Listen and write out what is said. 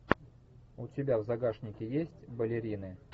у тебя в загашнике есть балерины